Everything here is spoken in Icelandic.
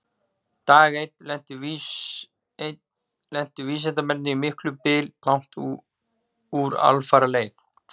Dag einn lentu vísindamennirnir í miklum byl langt úr alfaraleið.